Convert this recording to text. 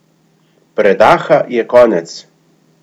Predaha je konec!